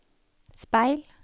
speil